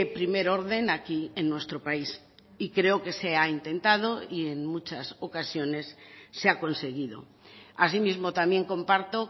primer orden aquí en nuestro país y creo que se ha intentado y en muchas ocasiones se ha conseguido asimismo también comparto